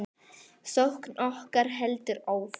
Sókn okkar heldur áfram.